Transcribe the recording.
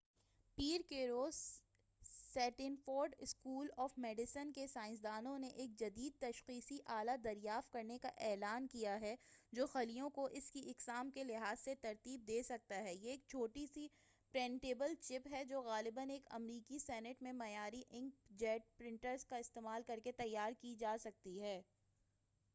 پیر کے روز Stanford school of medicine کے سائنسدانوں نے ایک جدید تشخیصی آلہ دریافت کرنے کا اعلان کیا ہے جو خلیوں کو اس کی اقسام کے لحاظ سے ترتیب دے سکتا ہے یہ ایک چھوٹی سی پرنٹیبل چپ ہے جو غالباً ایک امریکی سنٹ میں معیاری انک جیٹ پرنٹرز کا استعمال کر کے تیار کی جا سکتی ہے